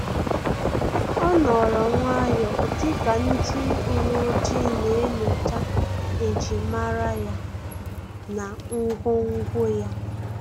O nọrọ nwayọọ dịka ndị uwe ojii na enyocha ejimara ya na ngwongwo ya